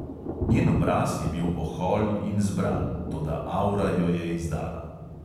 Njen obraz je bil ohol in zbran, toda avra jo je izdala.